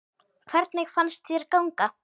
Hvernig fannst þér ganga?